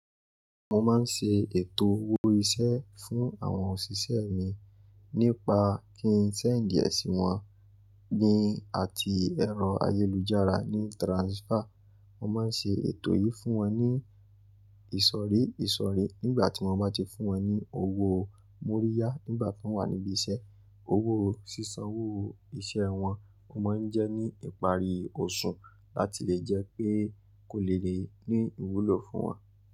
Mo máa ń ṣe ètò owó iṣẹ́ fún àwọn òṣìṣẹ́ mi nípa kí ń send díẹ̀ sí wọn ni àti ẹ̀rọ ayélujára ní transfer. Mo máa ń ṣe ètò yìí fún wọn ní ìsọ̀rí ìsọ̀rí nígbà tí wọ́n bá ti fún wọn ní owó múríyá nígbà tí wọ́n wà níbí iṣẹ́. Owó sísanwó iṣẹ́ wọn, o máa ń jẹ́ ní ìparí oṣù láti lè jẹ́ pé kò lè lé ní ìwúlò fún wọn.